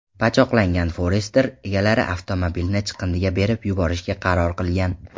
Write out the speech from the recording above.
Pachoqlangan Forester egalari avtomobilni chiqindiga berib yuborishga qaror qilgan.